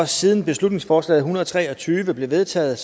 siden beslutningsforslag hundrede og tre og tyve blev vedtaget